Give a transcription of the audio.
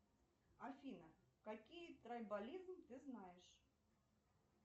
афина какие трайбализмы ты знаешь